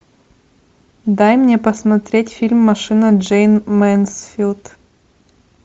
дай мне посмотреть фильм машина джейн мэнсфилд